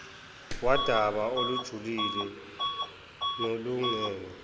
wudaba olujulile nolungeke